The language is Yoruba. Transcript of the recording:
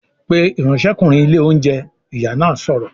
"Pe ìránṣẹ́kùnrin ilé oúnjẹ!", Ìyá náà sọ̀rọ̀